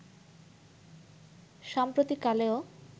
সাম্প্রতিক কালেও